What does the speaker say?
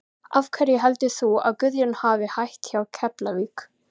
Af hverju heldur þú að Guðjón hafi hætt hjá Keflavík?